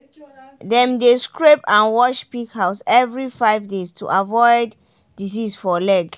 dem dey scrape and wash pig house every five days to avoid disease for leg.